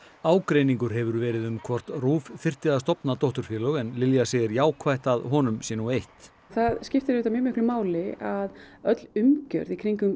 ágreiningur hefur verið um hvort RÚV þyrfti að stofna dótturfélög en Lilja segir jákvætt að honum sé nú eytt það skiptir auðvitað mjög miklu máli að öll umgjörð í kringum